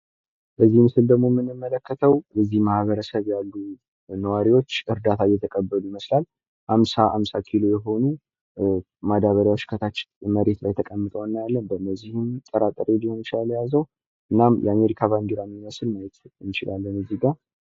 በዚህ ምስል የምንመለከተው በዚህ አካባቢ ያሉ ሰዎች እርዳታ እየተቀበሉ መሆኑን የሚያሳይ ሲሆን፤ 50 ኪሎ ግራም የሚመዝኑ ኬሻዎች መሬት ላይ ተደርድረው ይታያሉ። የአሜሪካ ባንዲራ ይታያል።